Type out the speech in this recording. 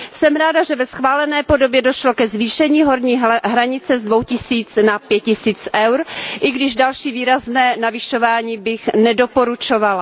Jsem ráda, že ve schválené podobě došlo ke zvýšení horní hranice z dvou tisíc na pět tisíc EUR, i když další výrazné navyšování bych nedoporučovala.